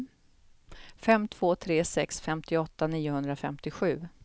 fem två tre sex femtioåtta niohundrafemtiosju